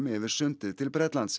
yfir sundið til Bretlands